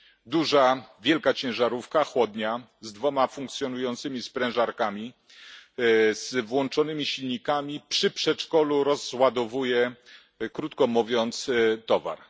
Duża, wielka ciężarówka, chłodnia, z dwiema funkcjonującymi sprężarkami, z włączonymi silnikami przy przedszkolu rozładowuje, krótko mówiąc towar.